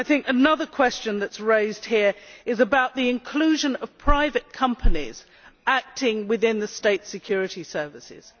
Another question that is raised here is the inclusion of private companies acting within the state security services.